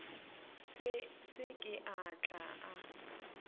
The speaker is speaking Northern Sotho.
se ke a tla a